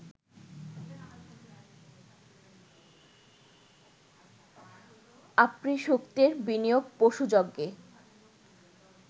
আপ্রীসূক্তের বিনিয়োগ পশুযজ্ঞে